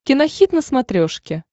кинохит на смотрешке